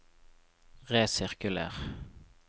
resirkuler